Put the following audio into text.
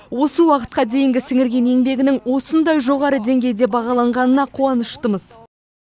осы уақытқа дейінгі сіңірген еңбегінің осындай жоғары деңгейде бағаланғанына қуаныштымыз